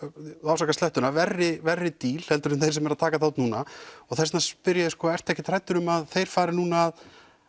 afsakið slettuna verri verri díl en þeir sem eru að taka þátt núna og þess vegna spyr ég ertu ekkert hræddur um að þeir fari núna